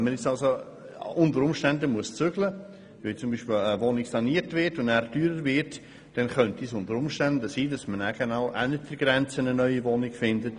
Wenn man unter Umständen umziehen muss, weil zum Beispiel eine Wohnung saniert und nachher teurer wird, kann es sein, dass man auf der anderen Seite der Gemeindegrenze eine neue Wohnung findet.